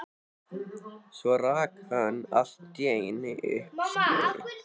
Svo rak hann allt í einu upp skelli